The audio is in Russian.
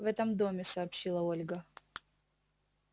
в этом доме сообщила ольга